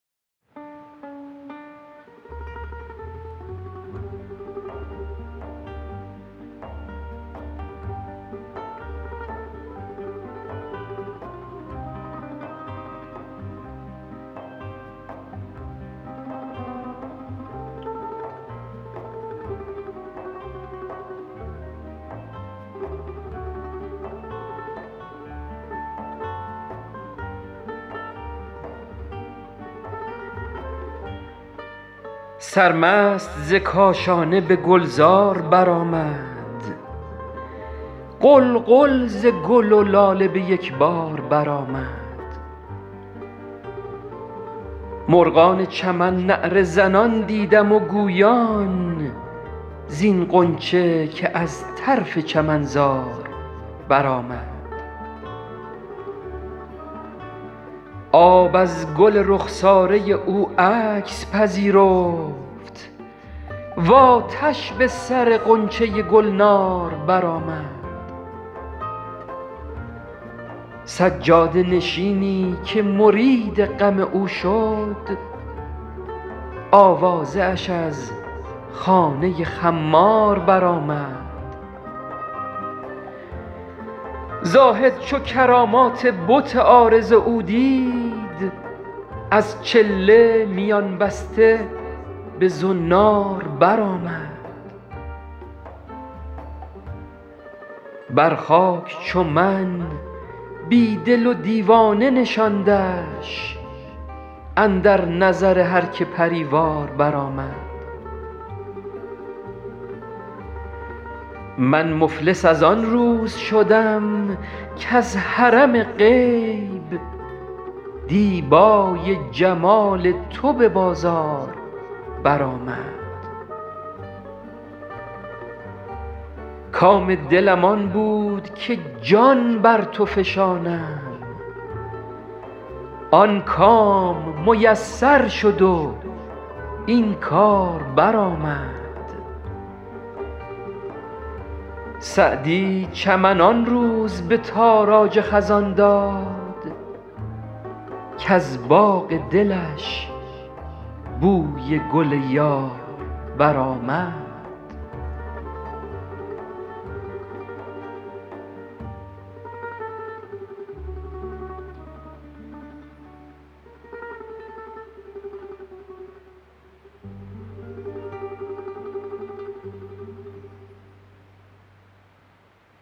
سرمست ز کاشانه به گلزار برآمد غلغل ز گل و لاله به یک بار برآمد مرغان چمن نعره زنان دیدم و گویان زین غنچه که از طرف چمنزار برآمد آب از گل رخساره او عکس پذیرفت و آتش به سر غنچه گلنار برآمد سجاده نشینی که مرید غم او شد آوازه اش از خانه خمار برآمد زاهد چو کرامات بت عارض او دید از چله میان بسته به زنار برآمد بر خاک چو من بی دل و دیوانه نشاندش اندر نظر هر که پری وار برآمد من مفلس از آن روز شدم کز حرم غیب دیبای جمال تو به بازار برآمد کام دلم آن بود که جان بر تو فشانم آن کام میسر شد و این کار برآمد سعدی چمن آن روز به تاراج خزان داد کز باغ دلش بوی گل یار برآمد